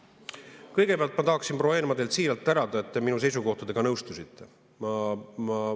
Kõigepealt ma tahaksin, proua Eenmaa, teid siiralt tänada, et te minu seisukohtadega nõustusite.